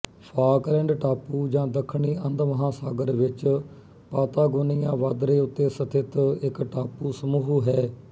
Falkland ਟਾਪੂ ਜਾਂ ਦੱਖਣੀ ਅੰਧ ਮਹਾਂਸਾਗਰ ਵਿੱਚ ਪਾਤਾਗੋਨੀਆ ਵਾਧਰੇ ਉੱਤੇ ਸਥਿਤ ਇੱਕ ਟਾਪੂਸਮੂਹ ਹੈ